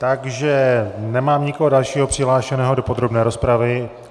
Takže nemám nikoho dalšího přihlášeného do podrobné rozpravy.